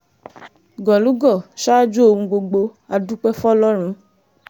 gólùgò ṣáájú ohun gbogbo á dúpẹ́ fọlọ́run